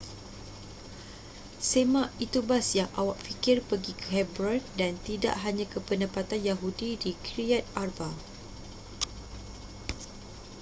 semak itu bas yang awak fikir pergi ke hebron dan tidak hanya ke penempatan yahudi di kiryat arba